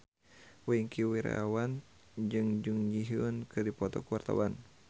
Wingky Wiryawan jeung Jun Ji Hyun keur dipoto ku wartawan